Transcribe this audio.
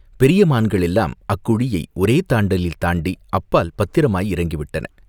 பெரிய மான்கள் எல்லாம் அக்குழியை ஒரே தாண்டலில் தாண்டி அப்பால் பத்திரமாய் இறங்கிவிட்டன.